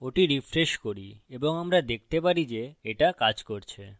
ওটি refresh করি এবং আমরা দেখতে পারি যে এটা কাজ করেছে